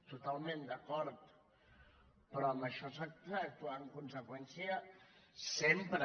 totalment d’acord però en això s’ha d’actuar en con·seqüència sempre